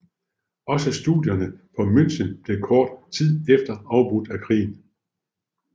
Også studierne på München blev kort tid efter afbrudt af krigen